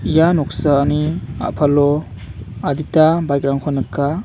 ia noksani a·palo adita baik rangko nika.